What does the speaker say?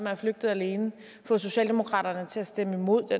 er flygtet alene få socialdemokratiet til stemme imod